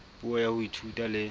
puo ya ho ithuta le